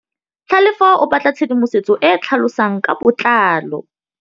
Tlhalefô o batla tshedimosetsô e e tlhalosang ka botlalô.